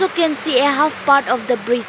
we can see a half part of the bridge.